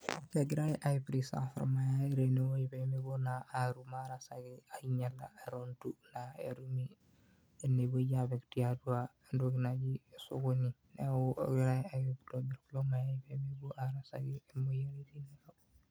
egirai ai preserve ilmayai pee mepuo naa aingiala etu etumi entoki naaji sokoni, neeku kegirai aitobir kulo mayai pee mepuo ake arasaki imoyiaritin.